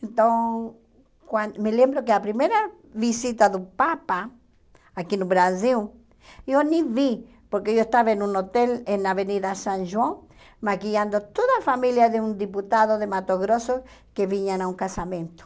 Então, quan me lembro que a primeira visita do Papa, aqui no Brasil, eu nem vi, porque eu estava em um hotel em na Avenida São João, maquiando toda a família de um deputado de Mato Grosso que vinham a um casamento.